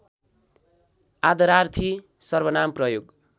आदरार्थी सर्वनाम प्रयोग